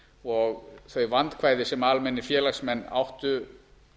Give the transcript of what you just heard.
og þau vandkvæði sem almennir félagsmenn áttu